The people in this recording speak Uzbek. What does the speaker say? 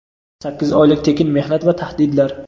sakkiz oylik tekin mehnat va tahdidlar.